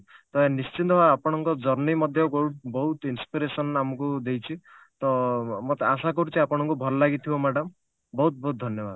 ତ ନିଶ୍ଚିନ୍ତ ଆପଣନଙ୍କ journey ମଧ୍ୟ ବହୁତ ବହୁତ inspiration ଆମକୁ ଦେଇଛି ତ ଅ ଆଶା କରୁଛି ଆପଣଙ୍କୁ ଭଲ ଲାଗିଥିବ madam ବହୁତ ବହୁତ ଧନ୍ୟବାଦ